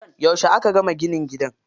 Yauce aka gama ginin gidan?